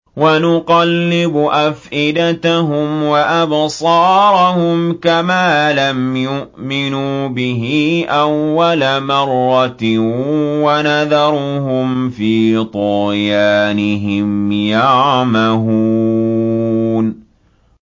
وَنُقَلِّبُ أَفْئِدَتَهُمْ وَأَبْصَارَهُمْ كَمَا لَمْ يُؤْمِنُوا بِهِ أَوَّلَ مَرَّةٍ وَنَذَرُهُمْ فِي طُغْيَانِهِمْ يَعْمَهُونَ